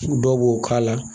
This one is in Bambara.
Dɔw b'o k'a la